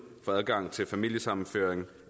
for adgang til familiesammenføring